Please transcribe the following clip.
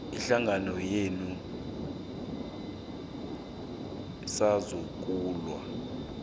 ihlangano yenu sasungulwa